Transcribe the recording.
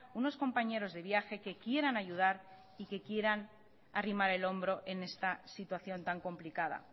unos compañeros de viaje que quieran ayudar y que quieran arrimar el hombro en esta situación tan complicada